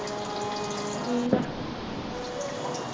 ਠੀਕ ਹੈ